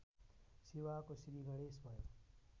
सेवाको श्रीगणेश भयो